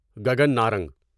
Gagan Narang